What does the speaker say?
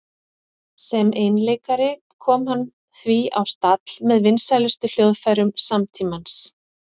Sem einleikari kom hann því á stall með vinsælustu hljóðfærum samtímans.